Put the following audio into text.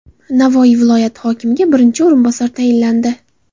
Navoiy viloyati hokimiga birinchi o‘rinbosar tayinlandi.